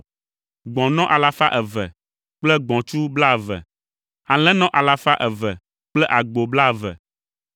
gbɔ̃nɔ alafa eve kple gbɔ̃tsu blaeve, alẽnɔ alafa eve kple agbo blaeve,